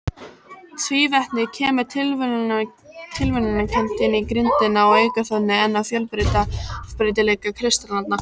Tvívetnið kemur tilviljunarkennt inn í grindina og eykur þannig enn á fjölbreytileika kristallanna.